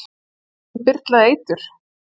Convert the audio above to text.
Var honum byrlað eitur?